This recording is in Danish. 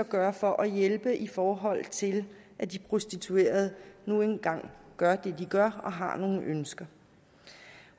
gøre for at hjælpe i forhold til at de prostituerede nu engang gør det de gør og har nogle ønsker